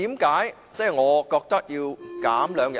為何我覺得要減少兩天呢？